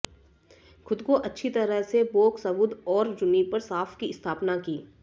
खुद को अच्छी तरह से बोकसवुद और जुनिपर साफ़ की स्थापना की